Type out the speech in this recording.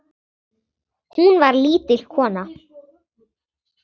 Hún var lítil kona.